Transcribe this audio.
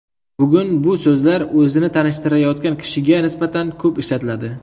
Bugun bu so‘zlar o‘zini tanishtirayotgan kishiga nisbatan ko‘p ishlatiladi.